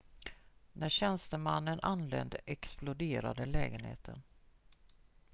när tjänstemannen anlände exploderade lägenheten